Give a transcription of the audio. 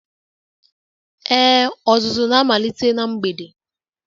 Ee, ọzụzụ na-amalite na mgbede.